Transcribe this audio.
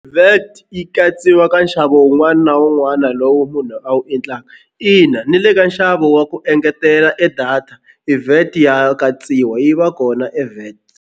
Vat yi katsiwa ka nxavo wun'wana na wun'wana lowu munhu a wu endlaka ina ni le ka nxavo wa ku engetela e data i vat ya katsiwa yi va kona i vat.